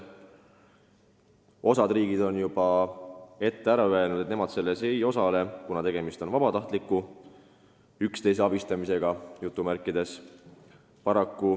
Osa riike on juba ette ära öelnud, et nemad selles ei osale, kuna tegemist on vabatahtliku nn üksteise abistamisega.